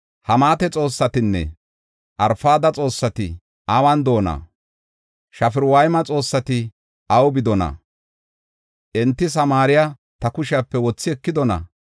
Hamaata xoossatinne Arfada xoossati awun de7oona? Safarwayma xoossati awu bidonaa? Enti Samaariya ta kushepe wothi ekidona?